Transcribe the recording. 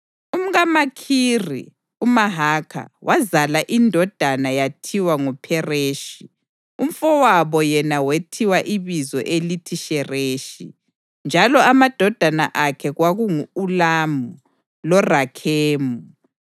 UmkaMakhiri uMahakha wazala indodana yathiwa nguPhereshi. Umfowabo yena wethiwa ibizo elithi Shereshi, njalo amadodana akhe kwakungu-Ulamu loRakhemu.